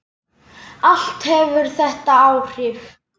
Allt hefur þetta áhrif.